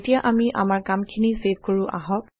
এতিয়া আমি আমাৰ কামখিনি ছেভ কৰো আহক